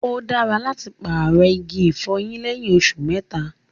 O dára láti paarọ̀ igi ifọ̀yín lẹyìn òṣù mẹ́ta.